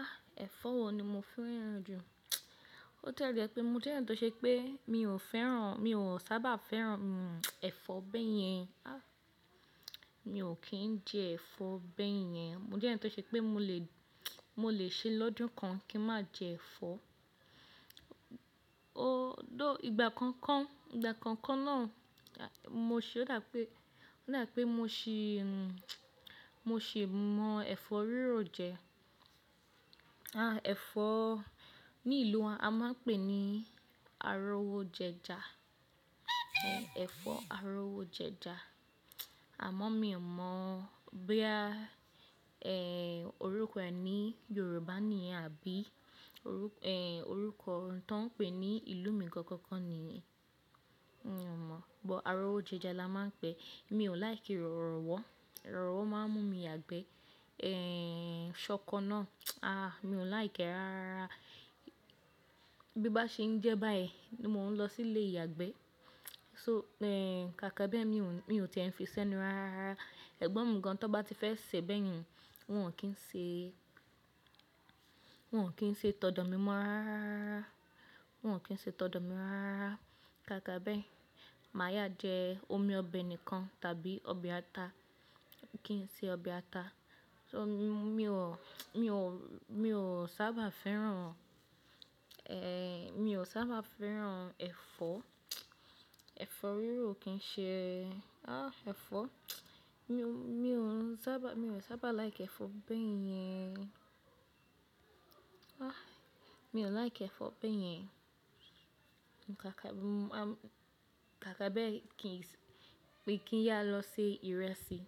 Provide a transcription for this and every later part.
Ah, ẹ̀fọ́ wo ni mo fẹ́ràn jù? Bo tie je pé mo jẹ́ yan tó ṣe pé mi ò fẹ́ràn, mi ò sábà fẹ́ràn, hmm, ẹ̀fọ́ bẹ́yẹn. Ah, mi ò kí ń jẹ ẹ̀fọ́ bẹ́yẹn. Mo jẹ́ ẹeyan tó ṣe pé mo lè, mo lè ṣe lọ́dún kan kí n má jẹ ẹ̀fọ́. O thóu, ìgbà kankan, ìgbà kankan náà, mo sì ò dá pé, rò dá pé mo sì, mo sì mọ ẹ̀fọ́ rírọ̀ jẹ. Ah, ẹ̀fọ́ ní ìlú wa a máa ń pè ní arówójẹja. Ẹ̀fọ́ arówó jẹja. Àmọ́ mi ò mọ̀ bo ya, ẹ́, orúkọ ẹ ní Yorùbá ni yen àbí orúkọ, ẹ́, orúkọ ohun tó ń pè ní ìlú mi gangangan ni yen. Mi ò mọ̀, but arówójẹja la máa ń pè é. Mi ò lìki rọ̀rọ̀wọ́. Rọ̀rọ̀wọ́ máa ń mú mi yagbẹ́. Ẹ́hn, ṣọkọ náà, ah, mi ò láìké rárárara. Bí n bá ṣe ń jẹ́ báyii, ni mo ń lọ sí ilé ìyàgbẹ́. So, ẹ́, káàkà be mi ò, mi ò tiẹ́ n fi sẹ́nu rárá. Ẹgbọ́n mi gan, tó bá ti fẹ́ sè bẹ́yẹn, wọn ò kí ń ṣe, wọn ò kí ń ṣe tọdọ̀ mi mọ́ rárárara. Wọn ò kí ń ṣe tọdọ̀ mi rárá. Káàkà bẹ́, màá yá jẹ omi ọbẹ̀ nìkan tàbí ọbẹ̀ ata. Kì n ṣe ọbẹ̀ ata. So mi, mi ò, mi ò, mi ò sábà fẹ́ràn, ẹ́, mi ò sábà fẹ́ràn ẹ̀fọ́. Ẹ̀fọ́ rírọ̀ kì n ṣe, ah, ẹ̀fọ́. Mi ò, mi ò sábà, mi ò sábà laiki ẹ̀fọ́ bẹ́yẹn. Ah, mi ò láìké ẹ̀fọ́ bẹ́yẹn. Káàkà, ah, káàkà bẹ́ kí n sì, pé kí n yá lọ se ìrẹsì.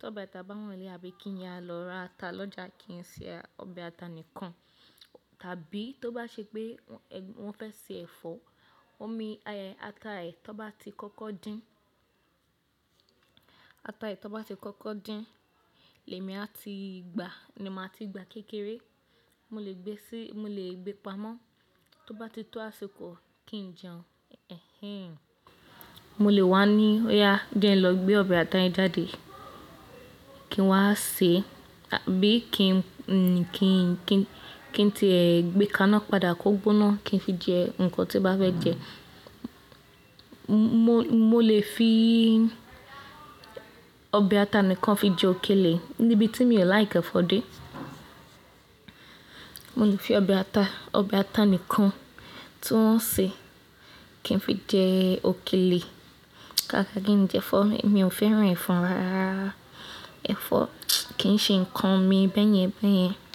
Tóbe ata bá wa n le, àbí kí n yá lọ ra ata lọ́jà, kì n ṣe ọbẹ̀ ata nìkan. Tàbí tó bá ṣe pé wọ́n fẹ́ se ẹ̀fọ́, omi ata ẹ tón bá ti kọ́kọ́ dín, ata ẹ tó bá ti kọ́kọ́ dín lẹ́mi a ti gbà, ni màá ti gbà kékeré. Mo lè gbé sí, mo lè gbé pamọ́. Tó bá ti tó àsìkò kí n jẹun, ẹhẹ́n, mo lè wá ní, "óyà jẹ́ n lọ gbé ọbẹ̀ ata yẹn jáde." Kí n wá sè, tàbí kí n, kí n, kí n, kí n ti, ẹ́, gbé kaná padà kọ́ gbóná kí n fi jẹ nǹkan tí bá fẹ́ jẹ. Mo, mo lè fi ọbẹ̀ ata nìkan fi jẹ òkèlè níbi tí mi ò láìki ẹ̀fọ́ dé. Mo lè fi ọbẹ̀ ata, ọbẹ̀ ata nìkan tí wọ́n sè kí n fi jẹ òkèlè. Káàkà kí n jẹ ẹ̀fọ́, mi ò fẹ́ràn ẹ̀fọ́ rárárara. Ẹ̀fọ́ kì í ṣe nǹkan mi bẹ́yẹn bẹ́yẹn.